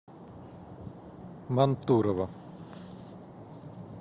мантурово